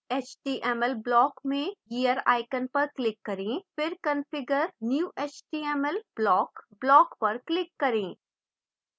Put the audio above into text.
html block में gear icon पर click करें फिर configure new html block block पर click करें